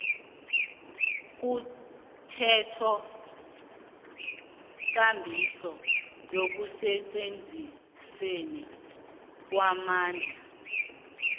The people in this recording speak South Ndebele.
komthethokambiso nekusetjenzisweni kwamandla